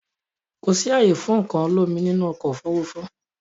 Kò sì ààyè fún nǹkan olómi nínú ọkọ̀ Òfurufú